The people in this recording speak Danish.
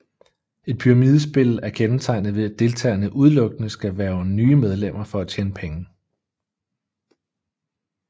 Et pyramidespil er kendetegnet ved at deltagerne udelukkende skal hverve nye medlemmer for at tjene penge